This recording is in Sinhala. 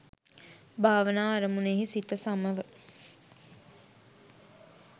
භාවනා අරමුණෙහි සිත සමව